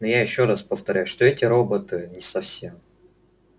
но я ещё раз повторяю что эти роботы не совсем